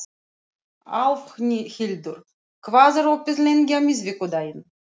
Álfhildur, hvað er opið lengi á miðvikudaginn?